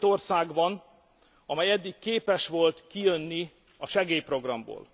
Csak két ország van, amely eddig képes volt kijönni a segélyprogramból.